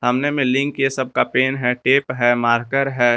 सामने में लिंक के सब का पेन है टेप है मारकर है।